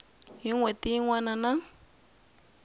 n hweti yin wana na